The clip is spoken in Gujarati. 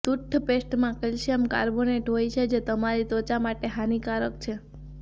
ટૂથપેસ્ટમાં કૅલ્શિયમ કાર્બોનેટ હોય છે જે તમારી ત્વચા માટે હાનિકારક છે